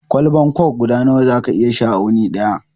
Kwalbar kok guda nawa za ka iya sha a wuni daya?